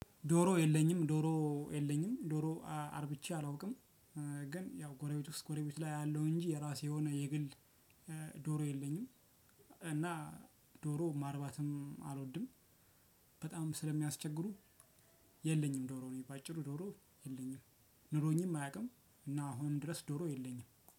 ዶሮ የለኝም ዶሮ የለኝም ዶሮ አርብቼ አላውቅም። ግን ያው ጎረቤት ውስጥ ጎረቤት ላይ አያለው እንጂ የራሴ የሆነ የግል ዶሮ የለኝም። እና ዶሮ ማርባትም አልወድም። በጣም ስለሚያስቸግሩ። የለኝም ዶሮ ነኝ በአጭሩ ዶሮ የለኝም። ኑሮኝም አያውቅም እና አሁን ድረስ ዶሮ የለኝም